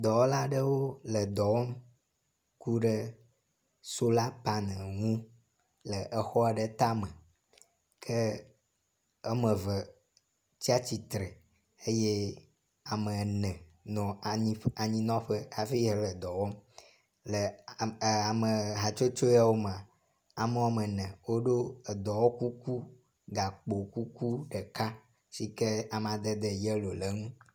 Dɔwɔla aɖewo le dɔ wɔm ku ɖe sola panel ŋu le exɔ aɖe tame ke eme eve tsi atsitre eye ame ene nɔ anyi anyinɔƒe hafi le edɔ wɔm le ame e ame hatsotso yawo mea. Ame wɔme ene woɖo edɔwɔkuku gakpo kukuɖeka si ke amadede yelo le eŋu.